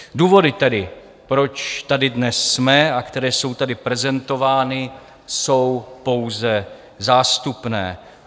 Důvody tedy, proč tady dnes jsme, a které jsou tady prezentovány, jsou pouze zástupné.